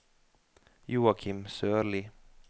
Joachim Sørli